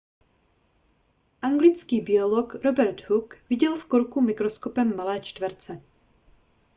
anglický biolog robert hooke viděl v korku mikroskopem malé čtverce